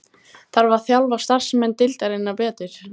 Þarf að þjálfa starfsmenn deildarinnar betur?